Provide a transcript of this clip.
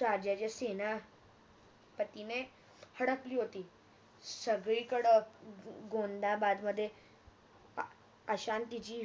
राजाच्या सेना हम्म पतीने हडपली होती संगळीकड गोंदाबादमध्ये अशांतीची